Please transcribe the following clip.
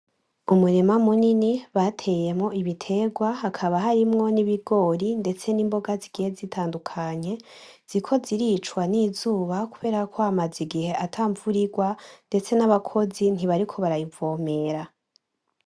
Umurima munini bateyemwo ibitegwa hakaba harimwo n'ibigori ndetse n'imboga zigiye zitandukanye, ziriko ziricwa n'izuba kubera ko hamaze igihe ata mvura irwa, ndetse n'abakozi ntibariko bariyivomera.